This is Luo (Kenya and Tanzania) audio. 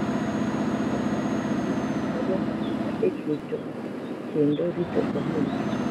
Komunikasi nigi tich maduong’ ahinya e keto kendo rito ohinga.